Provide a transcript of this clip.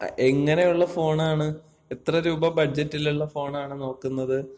എങ്ങനെയുള്ള ഫോണാണ്? എത്ര രൂപ ബഡ്ജറ്റിലുള്ള ഫോണാണ് നോക്കുന്നത്?